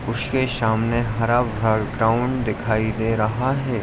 उसके सामने हरा-भरा ग्राउंड दिखाई दे रहा है।